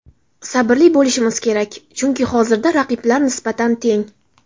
Sabrli bo‘lishmiz kerak, chunki hozirda raqiblar nisbatan teng.